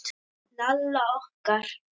Lalla okkar.